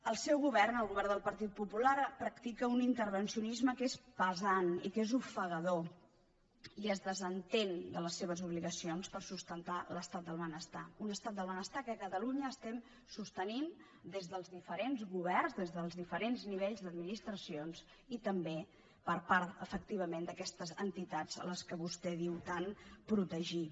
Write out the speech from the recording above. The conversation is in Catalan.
el seu govern el govern del partit popular practica un intervencionisme que és pesant i que és ofegador i es desentén de les seves obligacions per sustentar l’estat del benestar un estat del benestar que a catalunya sostenim des dels diferents governs des dels diferents nivells d’administracions i també per part efectivament d’aquestes entitats a què vostè diu tant protegir